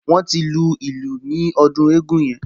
Wọ́n ti lu ìlù ní ọdún eégún yẹn